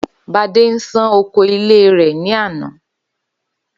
Badé ń ṣàn oko ilé rè ní àná